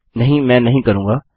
नहीं मैं नहीं करूँगा